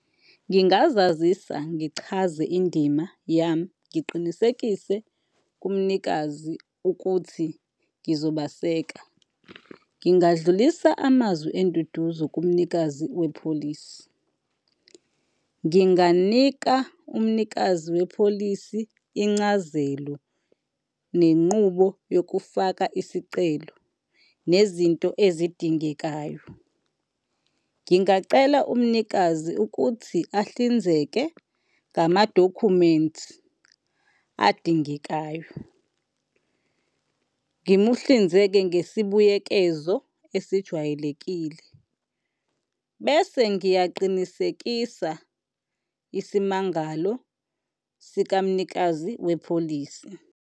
Ngingazazisa, ngichaze indima yami, ngiqinisekise kumnikazi ukuthi ngizobaseka. Ngingadlulisa amazwi enduduzo kumnikazi wepholisi. Nginganika umnikazi wepholisi incazelo nenqubo yokufaka isicelo nezinto ezidingekayo. Ngingacela umnikazi ukuthi ahlinzeke ngamadokhumenti adingekayo. Ngimuhlinzeke ngesibuyekezo esijwayelekile bese ngiyaqinisekisa isimangalo sikamnikazi wepholisi.